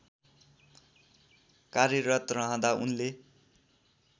कार्यरत रहँदा उनले